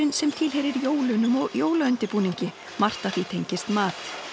sem tilheyrir jólunum og jólaundirbúningi margt af því tengist mat